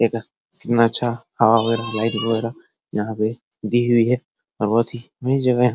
एक कितना अच्छा हवा वगैरा लाइट वगैरा यहाँ पे दी हुई है और बहुत ही खुली जगह है ।